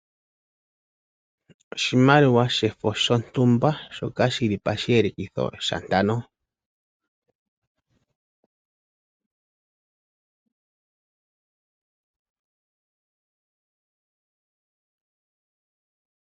Oshimaliwa shefo shontumba shoka shili pashiyelekitho shantano.